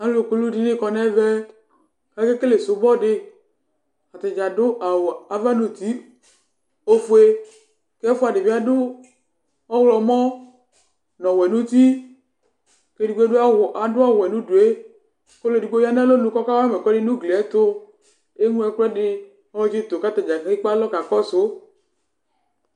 Alu kuludini kɔ nu ɛvɛ Akakele subɔ di Atadza adu awu ava nu uti ɔfue ku ɛfua di bi adu ɔwlɔmɔ nu ɔwuɛ nu uti ku edigbo adu ɔwɛ nu udu yɛ Ku ɔlu edigbo ya nu alɔnu ku ɔkawa ma ɛkuɛdi nu ugli yɛ ɛtu Eŋlo ɛkuɛdi kɔtsitu ku atadza kelee ekpalɔ kakɔsu